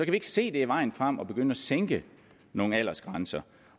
ikke se det er vejen frem at begynde at sænke nogle aldersgrænser